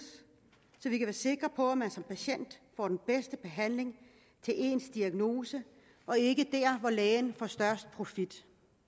så vi kan være sikre på at man som patient får den bedste behandling til ens diagnose og ikke dér hvor lægen får størst profit